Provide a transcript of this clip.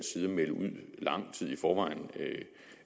side at melde ud lang tid i forvejen